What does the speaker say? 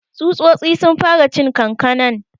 Tsutsotsi sun fara cin kankanan.